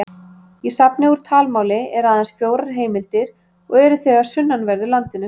Í safni úr talmáli eru aðeins fjórar heimildir og eru þau af sunnanverðu landinu.